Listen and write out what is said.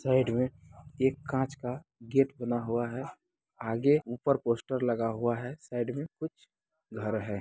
Side में एक कांच का गेट बना हुआ है। आगे ऊपर पोस्टर लगा हुआ है। साइड में कुछ घर है।